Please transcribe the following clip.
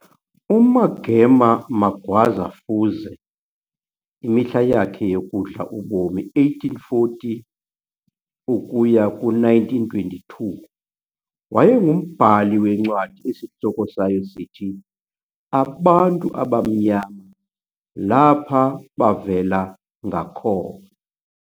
UMagema Magwaza Fuze, imihla yakhe yokudla ubomi 1840 - 1922, wayengumbhali wencwadi esihloko sayo sithi - "Abantu Abamnyama Lapa Bavela Ngakona."